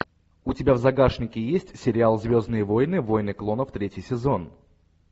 у тебя в загашнике есть сериал звездные войны войны клонов третий сезон